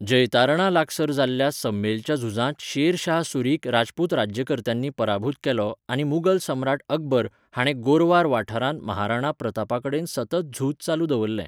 जैतारणा लागसार जाल्ल्या सम्मेलच्या झुजांत शेरशाह सूरीक राजपूत राज्यकर्त्यांनी पराभूत केलो आनी मुगल सम्राट अकबर हाणें गोरवार वाठारांत महाराणा प्रतापा कडेन सतत झूज चालू दवरलें.